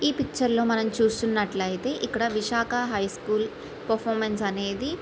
ఈ పిక్చర్ లో మనం చూస్తున్నట్లయితే ఇక్కడ విశాఖ హై స్కూల్ పెర్ఫార్మెన్స్ అనేది --